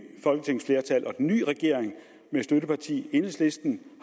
folketingsflertal og den nye regering med støttepartiet enhedslisten